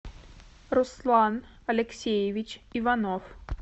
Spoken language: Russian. руслан алексеевич иванов